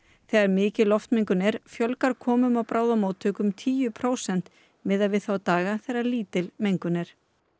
þegar mikil loftmengun er fjölgar komum á bráðamóttöku um tíu prósent miðað við þá daga þegar lítil mengun er